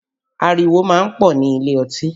Ariwo máa ń pọ̀ nílé ọtí